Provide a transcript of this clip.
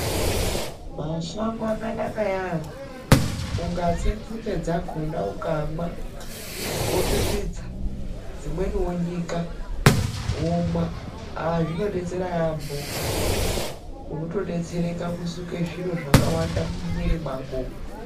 Mashango akanaka ya-ambo. Ungatse nzinde dzakona ukamwa, wopipidza, dzimweni wonyika, womwa a-a zvinodetsera ya-amho. Unotodetsereka kusuka zviro zvakawanda mumwiri mako.